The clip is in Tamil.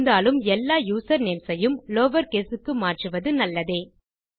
இருந்தாலும் எல்லா யூசர்நேம்ஸ் ஐயும் லவர்கேஸ் க்கு மாற்றுவது நல்லதே